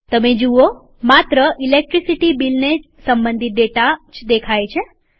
તમે જુઓ માત્ર ઈલેકટ્રીસીટી બીલને સંબંધિત ડેટા જ દ્રશ્યમાન છે